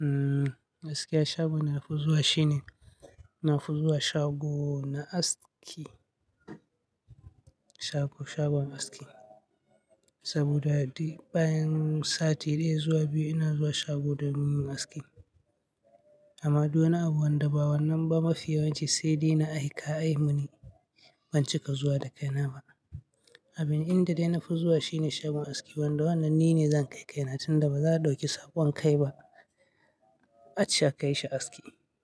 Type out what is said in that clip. Mm, gaskija a shago nafi zuwa shine, nafi zuwa shago na aski. Shago, shagon aski. Saboda bayin sati daya zuwa biyu ina zuwa shago domin aski. Amma duwana abu wanda bawannan ba mafiya wance sai dai na aika ai muni ban cika zuwa da kaina ba. Abin inda dai nafi zuwa shine shagon aski wanda wannan ni ne zan kai kaina tun da baza dauki saƙon kai ba. A ci a kai shi aski